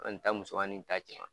An ta musomani ta cɛ